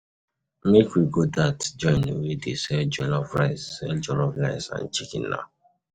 Make we go dat joint wey dey sell jollof rice sell jollof rice and chicken. na.